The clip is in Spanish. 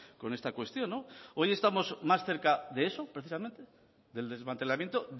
con esta cuestión hoy estamos más cerca de eso precisamente del desmantelamiento